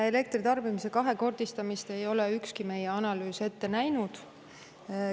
Elektritarbimise kahekordistamist ei ole ükski meie analüüs ette näinud.